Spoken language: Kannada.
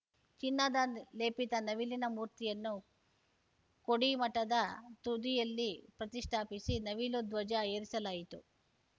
ಚಿನ್ನದ ಲೇಪಿತ ನವಿಲಿನ ಮೂರ್ತಿಯನ್ನು ಕೊಡಿಮಠದ ತುದಿಯಲ್ಲಿ ಪ್ರತಿಷ್ಠಾಪಿಸಿ ನವಿಲು ಧ್ವಜ ಏರಿಸಲಾಯಿತು